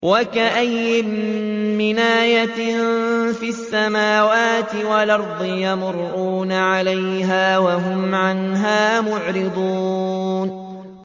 وَكَأَيِّن مِّنْ آيَةٍ فِي السَّمَاوَاتِ وَالْأَرْضِ يَمُرُّونَ عَلَيْهَا وَهُمْ عَنْهَا مُعْرِضُونَ